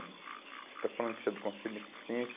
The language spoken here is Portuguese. Você está falando que você é do Conselho de Assistência.